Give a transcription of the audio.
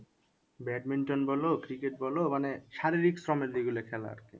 Badminton বলো cricket বলো মানে শারীরিক শ্রমের যেগুলো খেলা আর কি।